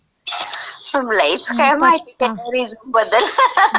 चांगलं आहे.इतकी माहितीय रिझ्यूमबद्दल? ter